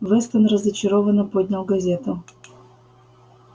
вестон разочарованно поднял газету